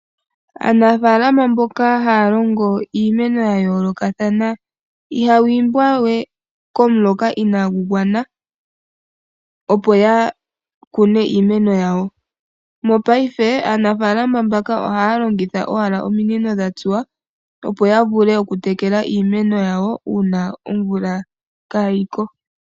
Aanafaalama mboka haa longo iimeno ya yoolokathana ,ihaya imbwa we komuloka inaagu gwana opo ya kune iimeno yawo. Mongashingeyi aanafaalama mbaka ohaya longitha owala ominino dha tsuwa opo ya vule okutekela iimeno yawo uuna omvula kaayi ko.